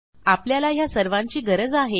आपल्याला ह्या सर्वांची गरज आहे